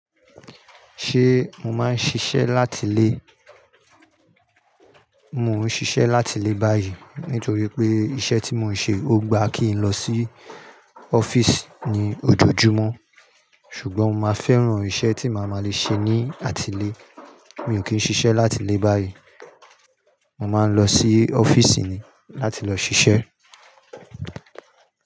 Ṣé mo máa ń ṣiṣẹ́ láti ilé? Mo ń ṣiṣẹ́ láti ilé báyìí nítorí pé iṣẹ́ tí mo ń ṣe ó gba kí n lọ sí ọ́fíìsì ní ojojúmọ́. Ṣùgbọ́n mo máa fẹ́ràn iṣẹ́ tí màá má le ṣe ní àtilè. Mi ò kí ń ṣiṣẹ́ láti ilé báyìí. Mo máa ń lọ sí ọ́fíìsì ni láti lọ ṣiṣẹ́